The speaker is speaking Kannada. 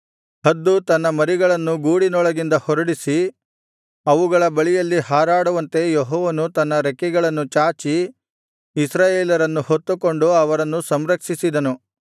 ಹದ್ದು ತನ್ನ ಮರಿಗಳನ್ನು ಗೂಡಿನೊಳಗಿಂದ ಹೊರಡಿಸಿ ಅವುಗಳ ಬಳಿಯಲ್ಲಿ ಹಾರಾಡುವಂತೆ ಯೆಹೋವನು ತನ್ನ ರೆಕ್ಕೆಗಳನ್ನು ಚಾಚಿ ಇಸ್ರಾಯೇಲರನ್ನು ಹೊತ್ತುಕೊಂಡು ಅವರನ್ನು ಸಂರಕ್ಷಿಸಿದನು